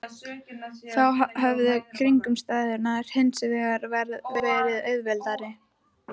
Þá höfðu kringumstæðurnar hins vegar verið auðveldari.